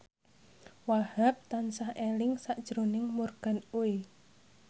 Wahhab tansah eling sakjroning Morgan Oey